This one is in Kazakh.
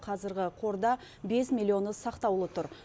қазіргі қорда бес миллионы сақтаулы тұр